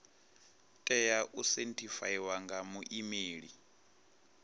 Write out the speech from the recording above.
tea u sethifaiwa nga muimeli